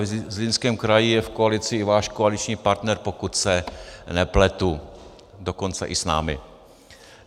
Zlínském kraji je v koalici i váš koaliční partner, pokud se nepletu, dokonce i s námi.